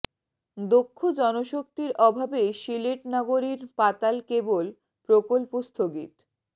দক্ষ জনশক্তির অভাবে সিলেট নগরীর পাতাল ক্যাবল প্রকল্প স্থগিত